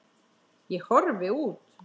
Ég horfi út.